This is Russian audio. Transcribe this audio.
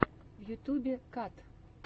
в ютьюбе кат